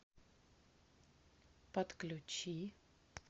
подключи